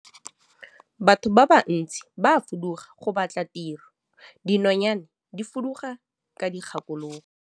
Batho ba bantsi ba fuduga go batla tiro, dinonyane di fuduga ka dikgakologo.